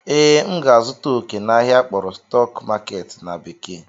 Ee, m ga-azụta oke n'ahịa akpọrọ "stock market" na bekee